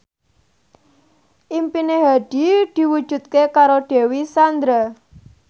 impine Hadi diwujudke karo Dewi Sandra